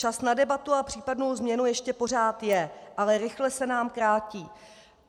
Čas na debatu a případnou změnu ještě pořád je, ale rychle se nám krátí.